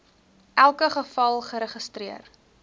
elke geval geregistreer